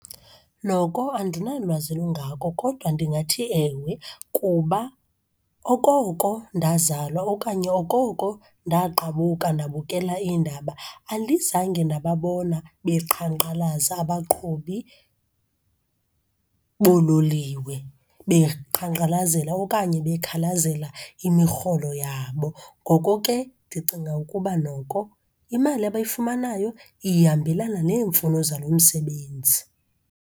Noko andinalwazi lungako, kodwa ndingathi ewe kuba okoko ndazalwa okanye okoko ndaqabuka ndabukela iindaba, andizange ndababona beqhankqalaza abaqhubi boololiwe. Beqhankqalazela okanye bekhalazela imirholo yabo. Ngoko ke ndicinga ukuba noko imali abayifumanayo ihambelana neemfuno zalo msebenzi.